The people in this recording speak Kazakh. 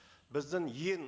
біздің ең